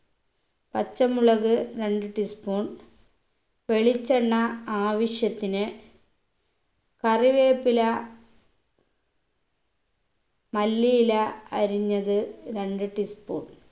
പച്ചമുളക് രണ്ട് tea spoon വെളിച്ചെണ്ണ ആവിശ്യത്തിന് കറിവേപ്പില മല്ലിയില അരിഞ്ഞത് രണ്ട് tea spoon